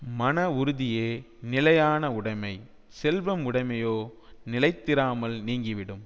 மன உறுதியே நிலையான உடைமை செல்வம் உடைமையோ நிலைத்திராமல் நீங்கிவிடும்